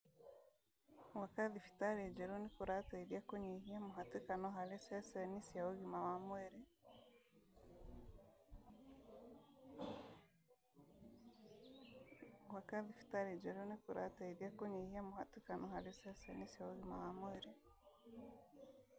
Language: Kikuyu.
Gwaka thibitarĩ njerũ nĩkũrateithia kũnyihia mũhatĩkano harĩ ceceni cia ũgima wa mwĩrĩ